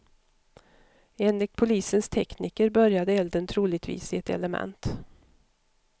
Enligt polisens tekniker började elden troligtvis i ett element.